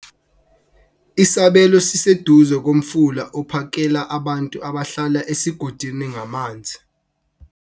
isabelo siseduze komfula ophakela abantu abahlala esigodini ngamanzi